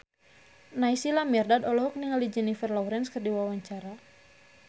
Naysila Mirdad olohok ningali Jennifer Lawrence keur diwawancara